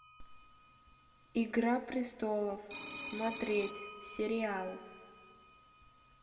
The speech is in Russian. игра престолов смотреть сериал